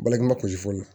Baliku ma kusi fɔlɔ